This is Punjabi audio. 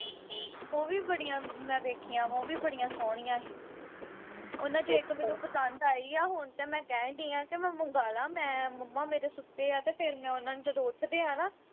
ਉਹ ਵੀ ਬੜੀਆਂ ਮੈਂ ਵੇਖੀਆਂ ਵਾ ਉਹ ਵੀ ਬੜੀ ਸੋਹਣੀਆਂ ਹੀ ਉਨ੍ਹਾਂ ਵਿਚੋਂ ਇਕ ਮੈਨੂੰ ਪਸੰਦ ਆਈ ਆ ਹੁਣ ਤੇ ਮੈਂ ਕਹਿਣ ਦਈ ਆ ਕਿ ਮੈਂ ਮੰਗਾਲਾ ਮੈਂ ਮੰਮਾ ਮੇਰੇ ਸੁੱਤੇ ਆ ਤੇ ਫਿਰ ਮੈਂ ਉਨ੍ਹਾਂ ਨੂੰ ਜਦੋਂ ਉਠਦੇ ਆ ਨਾ